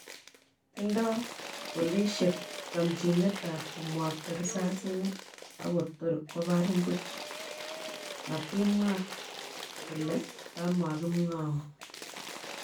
Tindoi polisiek chomchinet ab komwokta risasinik ako tor kobarin puch, matimwa kole komakimwoun